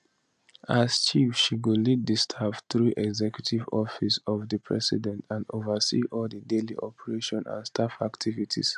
as chief she go lead di staff through di executive office of di president and oversee all di daily operations and staff activities